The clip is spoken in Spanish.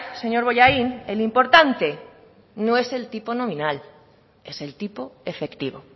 señor bollain el importante no es el tipo nominal es el tipo efectivo